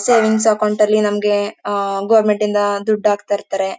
Savings account ಅಲ್ಲಿ ನಮಗೆ ಅ ಅ ಅ ಗವರ್ನಮೆಂಟ್ ಇಂದ ದುಡ್ಡು ಹಾಕ್ಥೈರ್ಥಾರೆ.